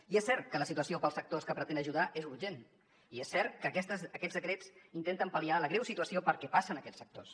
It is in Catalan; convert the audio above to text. i és cert que la situació per als sectors que pretén ajudar és urgent i és cert que aquests decrets intenten pal·liar la greu situació per què passen aquests sectors